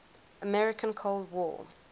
american cold war